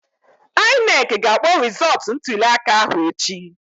INEC ga-akpọ rịzọtụ ntulịaka ahụ echi